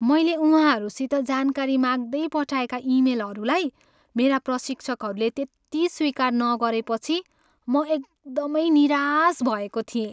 मैले उहाँहरूसित जानकारी माग्दै पठाएका इमेलहरूलाई मेरा प्रशिक्षकहरूले त्यति स्वीकार नगरेपछि म एकदमै निराश भएको थिएँ।